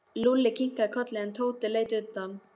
Lúlli kinkaði kolli en Tóti leit undan.